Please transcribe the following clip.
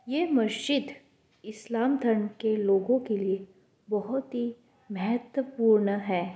ये मस्जिद इस्लाम धर्म के लोगो के लिए बोहोत ही महत्वपूर्ण है।